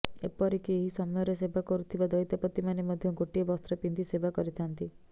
ଏପରିକି ଏହି ସମୟରେ ସେବା କରୁଥିବା ଦଇତାପତିମାନେ ମଧ୍ୟ ଗୋଟିଏ ବସ୍ତ୍ର ପିନ୍ଧି ସେବା କରିଥାନ୍ତି